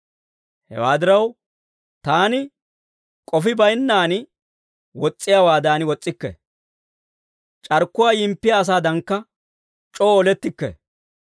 Hewaa diraw, taani k'ofi baynnaan wos's'iyaawaadan wos's'ikke. C'arkkuwaa yimppiyaa asaadankka c'oo olettikke.